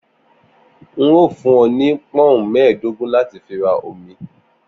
N óò fún ọ ni pọ́ùn mẹ́ẹ̀dógún láti fi ra omi